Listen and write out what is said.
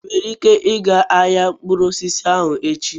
Ị nwere ike ịga ahịa mkpụrụ osisi ahụ echi?